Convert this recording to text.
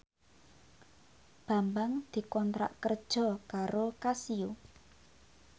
Bambang dikontrak kerja karo Casio